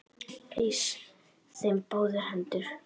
Eys þeim á báðar hendur!